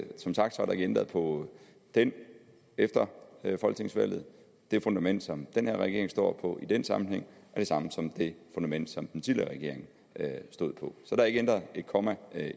som sagt er der ikke ændret på den efter folketingsvalget det fundament som den her regering står på i den sammenhæng er det samme som det fundament som den tidligere regering stod på så der er ikke ændret et komma